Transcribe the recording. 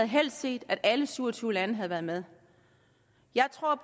havde set at alle syv og tyve lande havde været med jeg tror